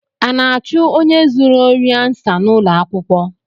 A na-achụ onye zuru ori ansa n’ụlọakwụkwọ?